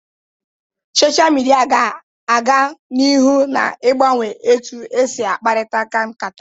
Sochaa midia ga na aga n'ihu na agbanwe etu esi akparita nkata.